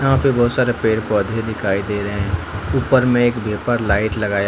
यहां पे बहुत सारे पेड़ पौधे दिखाई दे रहे हैं ऊपर में एक वेपर लाइट लगाया--